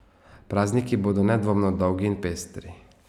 Prazniki bodo nedvomno dolgi in pestri!